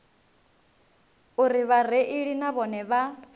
uri vhareili na vhone vha